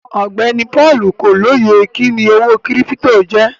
Ọgbẹni Paul kò lóyè kíni owó kírípítò jẹ.